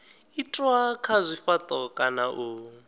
itwa kha zwifhato kana u